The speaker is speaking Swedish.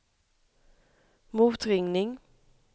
motringning